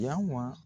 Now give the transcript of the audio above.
Yanwa